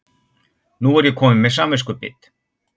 Nú er ég komin með samviskubit.